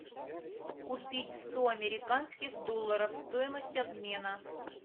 купить сто американских долларов стоимость обмена